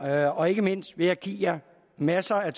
jer og ikke mindst vil jeg give jer masser af